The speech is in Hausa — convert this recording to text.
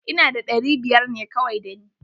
Ina da ɗari biyar ne kawai da ni.